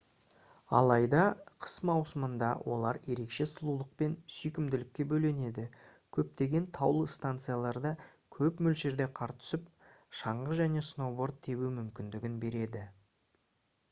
алайда қыс маусымында олар ерекше сұлулық пен сүйкімділікке бөленеді көптеген таулы станцияларда көп мөлшерде қар түсіп шаңғы және сноуборд тебу мүмкіндігін береді